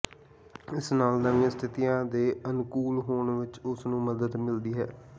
ਇਸ ਨਾਲ ਨਵੀਆਂ ਸਥਿਤੀਆਂ ਦੇ ਅਨੁਕੂਲ ਹੋਣ ਵਿਚ ਉਸਨੂੰ ਮਦਦ ਮਿਲਦੀ ਹੈ